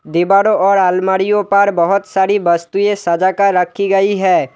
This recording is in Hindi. दीवारों और अलमारीयो पर बहुत सारी वस्तुएं सजा कर रखी गई है।